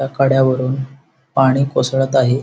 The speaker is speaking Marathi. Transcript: त्या कड्यावरून पाणी कोसळत आहे.